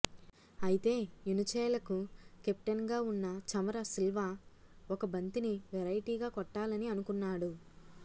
అయితే యునిచెలకు కెప్టెన్ గా ఉన్న చమర సిల్వా ఒక బంతిని వెరైటీగా కొట్టాలని అనుకున్నాడు